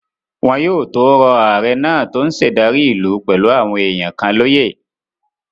Wọn yóò tó rọ ààrẹ náà tó n ṣe ìdarí ìlú pẹ̀lú àwọn èèyàn kan lóyè